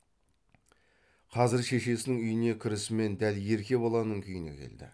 қазір шешесінің үйіне кірісімен дәл ерке баланың күйіне келді